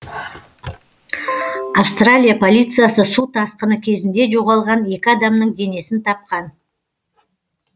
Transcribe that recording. австралия полициясы су тасқыны кезінде жоғалған екі адамның денесін тапқан